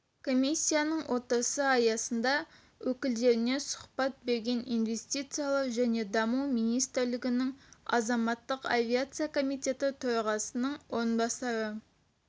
комиссиясының отырысы аясында өкілдеріне сұхбат берген инвестициялар және даму министрлігінің азаматтық авиация комитеті төрағасының орынбасары